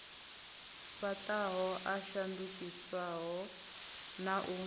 fhaṱaho a shandukisaho na u